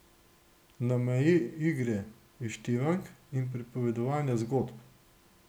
Na meji igre, izštevank in pripovedovanja zgodb.